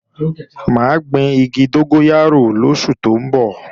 Mà á gbin igi dógóyárò lóṣù tó ń bọ̀